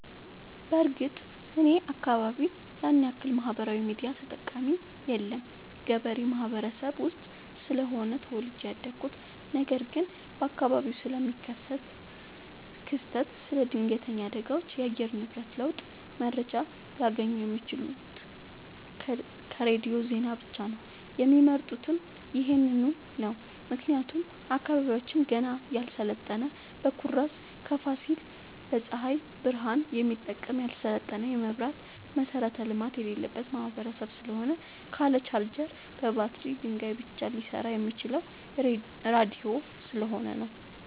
በርግጥ እኔ አካባቢ ያንያክል ማህበራዊ ሚዲያ ተጠቀሚ የለም ገበሬ ማህበረሰብ ውስጥ ስለሆነ ተወልጄ ያደኩት ነገር ግን በአካባቢው ስለሚከሰት ክስተት ስለ ድነገተኛ አደጋዎች የአየር ንብረት ለውጥ መረጃ ሊያገኙ የሚችሉት ከሬዲዮ ዜና ብቻ ነው የሚመርጡትም ይህንኑ ነው ምክንያቱም አካባቢያችን ገና ያልሰለጠነ በኩራዝ ከፋሲል በፀሀይ ብረሃን የሚጠቀም ያልሰለጠነ የመብራት መሠረተ ልማት የሌለበት ማህበረሰብ ስለሆነ ካለ ቻርጀር በባትሪ ድንጋይ ብቻ ሊሰራ የሚችለው ራዲዮ ስለሆነ ነው።